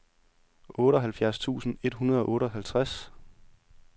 otteoghalvfjerds tusind et hundrede og otteoghalvtreds